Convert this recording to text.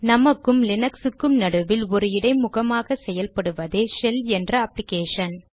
நமக்கும் லீனக்ஸுக்கும் நடுவில் ஒரு இடைமுகமாக செயல்படுவதே ஷெல் என்ற அப்ளிகேஷன்